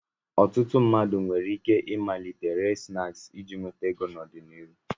Ọtụtụ ndị mmadụ nwere ike ịmalite ire snaakị iji nweta ego n'ọdịnihu.